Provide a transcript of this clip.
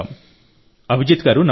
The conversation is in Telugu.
అభిజిత్ గారూ నమస్కారం